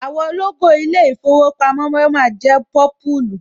Àwọ̀ lógò ilé ìfowópamọ́ Wema jẹ́ pọ́púlù